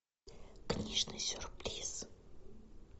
книжный сюрприз